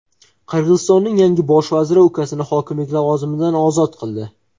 Qirg‘izistonning yangi Bosh vaziri ukasini hokimlik lavozimidan ozod qildi.